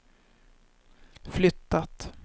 flyttat